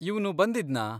ಇವ್ನು ಬಂದಿದ್ನಾ?